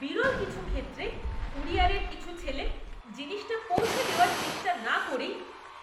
বিরল কিছু ক্ষেত্রে, কুরিয়ারের কিছু ছেলে জিনিসটা পৌঁছে দেওয়ার চেষ্টা না করেই